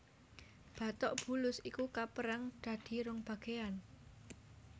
Batok bulus iku kapérang dadi rong bagéan